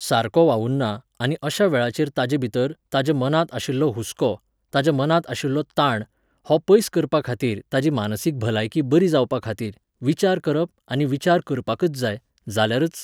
सारको वावुरना, आनी अश्या वेळाचेर ताचे भितर, ताच्या मनांत आशिल्लो हुस्को, ताच्या मनांत आशिल्लो ताण, हो पयस करपाखातीर, ताची मानसीक भलायकी बरी जावपाखातीर, विचार करप आनी विचार करपाकच जाय, जाल्यारच